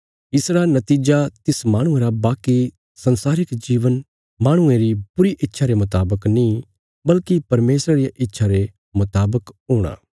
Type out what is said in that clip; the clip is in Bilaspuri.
इसरा नतीजा तिस माहणुये रा बाकी संसारिक जीवन माहणुये री बुरी इच्छा रे मुतावक नीं बल्कि परमेशरा रिया इच्छा रे मुतावक हूणा